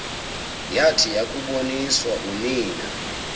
yathi yakuboniswa unina